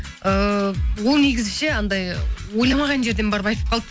ыыы ол негізі ше анандай ойламаған жерден барып айтып қалды